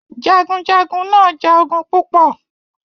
Jagunjagun náà ja ogun púpọ̀